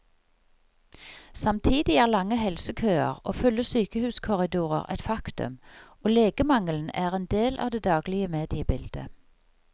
Samtidig er lange helsekøer og fulle sykehuskorridorer et faktum, og legemangelen er en del av det daglige mediebildet.